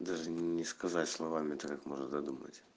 даже не сказать словами это как можно додумать